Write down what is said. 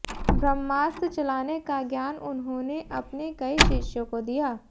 ब्रह्मास्त्र चलाने का ज्ञान उन्होंने अपने कई शिष्यों को दिया